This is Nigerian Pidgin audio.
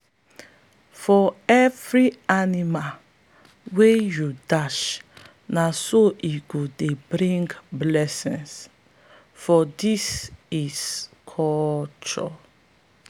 for every animal wey you dash na so e go dey bring blessing for this this culture.